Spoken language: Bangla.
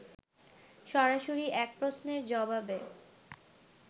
সরাসরি এক প্রশ্নের জবাবে